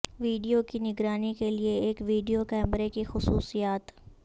video کی نگرانی کے لئے ایک ویڈیو کیمرے کی خصوصیات